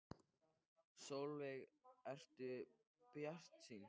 Sólveig: Ertu bjartsýnn?